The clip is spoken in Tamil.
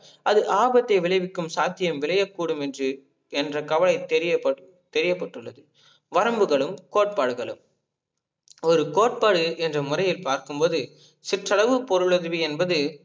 அது ஆபத்தை விளைவிக்கும் சாத்தியம் விளையக் கூடும் என்று என்ற கவலை தெரியபட்டுள்ளது. வரம்புகலும் கோட்பாடுகளும் ஒரு கோட்பாடு என்ற முறையில் பார்க்கும் போது சிற்றளவு பொருளுதவி என்பது